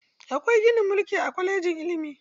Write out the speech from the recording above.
Akwai ginin mulki a kwalejin ilimi.